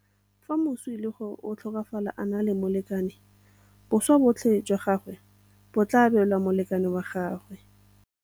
Fa moswi e le gore o tlhokafala a na le molekane, boswa botlhe jwa gagwe bo tla abelwa molekane wa gagwe.